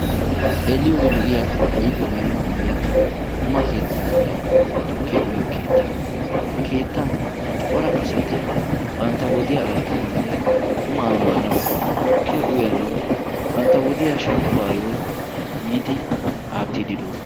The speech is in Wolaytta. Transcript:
xeeliyoodi lo77iya aifiyawu yeemuyiya quma kiittaanne tukkiya uyyo kiitta ha kiittan cora asati bantta wodiyaa aattanaunne qumaa maanau tukkiya uyanawu bantta wodiya shemppuwaayyo yiidi aattiididoosona